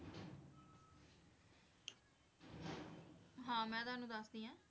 ਹਾਂ ਮੈਂ ਤੁਹਾਨੂੰ ਦੱਸਦੀ ਹਾਂ,